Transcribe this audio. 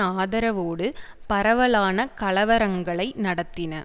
ஆதரவோடு பரவலான கலவரங்களை நடத்தின